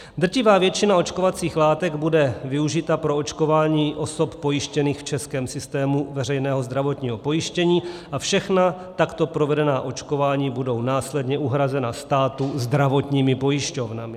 Drtivá většina očkovacích látek bude využita pro očkování osob pojištěných v českém systému veřejného zdravotního pojištění a všechna takto provedená očkování budou následně uhrazena státu zdravotními pojišťovnami.